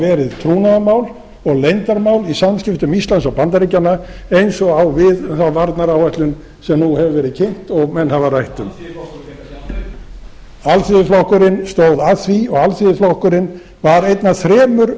verið trúnaðarmál og leyndarmál í samskiptum íslands og bandaríkjanna eins og á við þá varnaráætlun sem nú hefur verið kynnt og menn hafa rætt um alþýðuflokkurinn fékk að sjá meira alþýðuflokkurinn stóð að því og alþýðuflokkurinn var einn af þremur